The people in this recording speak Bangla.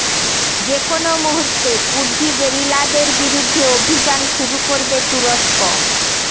যেকোনো মুহূর্তে কুর্দি গেরিলাদের বিরুদ্ধে অভিযান শুরু করবে তুরস্ক